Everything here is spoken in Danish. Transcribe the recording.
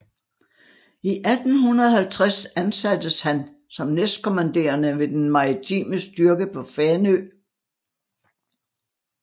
I 1850 ansattes han som næstkommanderende ved den maritime styrke på Fanø